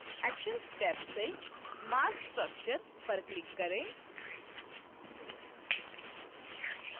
actions tab से marc structure पर click करें